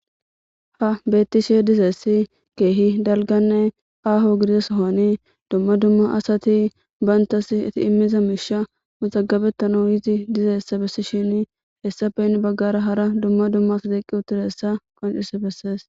Ha bettishshe dizayssi ke'i dalgganne aahoo gididda soohoni dumma dumma assati bantta shiifitinette miishsha mazagabettanaw yidi dizayssa bessishshini hessappe heni baggara hara dumma dumma assati eqqi utiidayssa qoncisidi besees